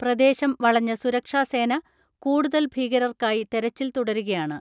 പ്രദേശം വളഞ്ഞ സുരക്ഷാ സേന കൂടുതൽ ഭീകരർക്കായി തെരച്ചിൽ തുടരുകയാണ്.